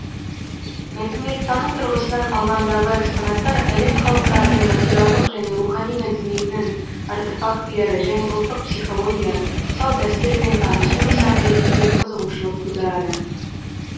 мәдениеттану тұрғысынан алғандағы экспонаттар әлем халықтарының материалдық және рухани мәдениетінің артефактілері және ұлттық психология салт дәстүрмен танысу нысаны ретінде қызығушылық тудырады